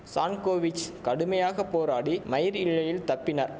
Sankovich கடுமையாக போராடி மயிர் இழையில் தப்பினார்